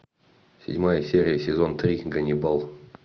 седьмая серия сезон три ганнибал